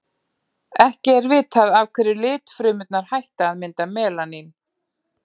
ekki er vitað af hverju litfrumurnar hætta að mynda melanín